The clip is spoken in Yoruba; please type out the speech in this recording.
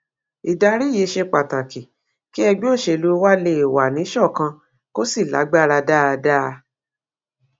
ìdarí yìí ṣe pàtàkì kí ẹgbẹ òṣèlú wa lè wà níṣọkan kó sì lágbára dáadáa